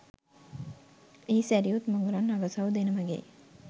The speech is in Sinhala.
එහි සැරියුත් මුගලන් අගසව් දෙනමගේ